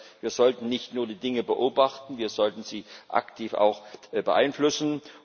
Das heißt, wir sollten nicht nur die Dinge beobachten, wir sollten sie auch aktiv beeinflussen.